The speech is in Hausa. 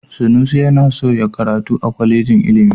Sanusi yana so ya karatu a kwalejin ilimi.